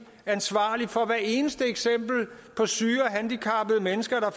ansvarlig for hvert eneste eksempel på syge og handicappede mennesker der